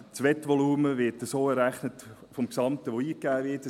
Das Wettvolumen wird so vom Gesamten, das eingegeben wird, errechnet.